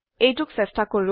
এইটোক চেষ্টা কৰো